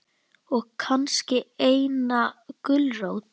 Og kannski eina gulrót.